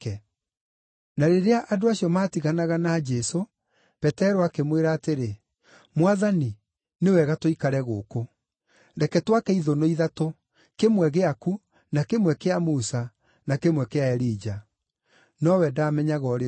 Na rĩrĩa andũ acio maatiganaga na Jesũ, Petero akĩmwĩra atĩrĩ, “Mwathani, nĩ wega tũikare gũkũ. Reke twake ithũnũ ithatũ, kĩmwe gĩaku, na kĩmwe kĩa Musa, na kĩmwe kĩa Elija.” (Nowe ndaamenyaga ũrĩa oigaga.)